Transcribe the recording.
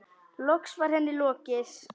Loks var henni lokið.